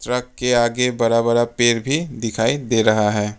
Truck के आगे बड़ा बड़ा पेड़ दिखाई दे रहा है।